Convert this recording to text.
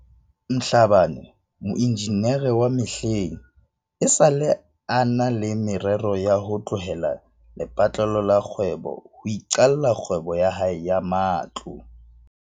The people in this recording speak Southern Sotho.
Mhlabane, moenjinere wa mehleng, esale a na le me rero ya ho tlohela lepatlelo la kgwebo ho iqalla kgwebo ya hae ya matlo.